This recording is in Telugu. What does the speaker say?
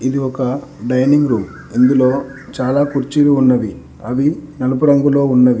ఇది ఒక డైనింగ్ రూమ్ ఇందులో చాలా కుర్చీలు ఉన్నవి అవి నలుపు రంగులో ఉన్నవి.